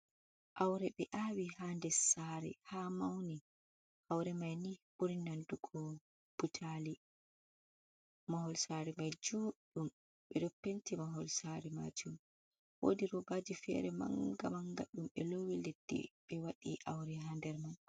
Aaure ɓe aawi ha ndes saare haa mauni, aaure mai ni ɓuri nandugo butaali, mahol saare mai juɗɗum ɓe ɗo penti mahol saare maajum, woodi roobaaji fere manga manga ɗum ɓe loowi leddi be waɗi aaure ha nder mai.